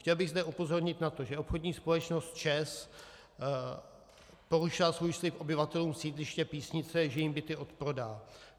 Chtěl bych zde upozornit na to, že obchodní společnost ČEZ porušila svůj slib obyvatelům sídliště Písnice, že jim byty odprodá.